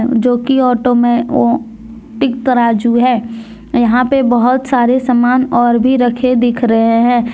जोकि ऑटो में इक तराजू है यहां पे बहुत सारे सामान और भी रखे दिख रहे हैं।